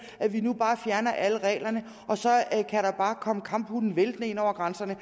at vi nu bare fjerner alle reglerne og så kan der bare komme kamphunde væltende ind over grænserne